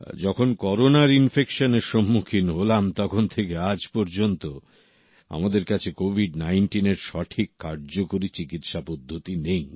যখন করোনার ইনফেকশনের সন্মুখিন হলাম তখন থেকে আজ পর্যন্ত আমাদের কাছে কোভিড19 এর সঠিক কার্যকরী চিকিৎসা পদ্ধতি নেই